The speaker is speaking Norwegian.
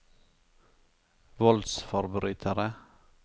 voldsforbrytere